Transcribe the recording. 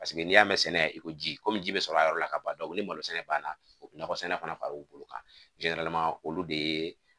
Paseke n'i y'a mɛn sɛnɛ i ko ji, komi ji bɛ sɔrɔ a yɔrɔ la ka ban ni malo sɛnɛ banna u bɛ nakɔ sɛnɛ fana far'u bolo kan. olu de ye